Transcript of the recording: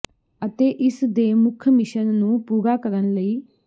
ਅਤੇ ਇਸ ਦੇ ਮੁੱਖ ਮਿਸ਼ਨ ਨੂੰ ਪੂਰਾ ਕਰਨ ਲਈ